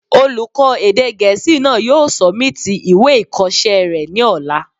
Olùkọ́ èdè gẹ̀ẹ́sì náà yóò sọ̀míìtì ìwé ìkọsẹ́ rẹ̀ ní ọ̀la